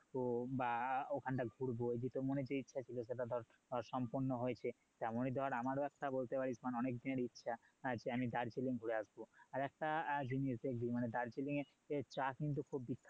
তো বা ওখানটা ঘুরবো যে তোর মনে যে ইচ্ছা ছিল সেটা ধর সম্পূর্ণ হয়েছে তেমনি ধর আমারও একটা বলতে পারিস মানে অনেকদিনের ইচ্ছা যে আমি দার্জিলিং ঘুরে আসবো আর একটা জিনিস দেখবি মানে দার্জিলিং এর চা কিন্তু খুব বিখ্যাত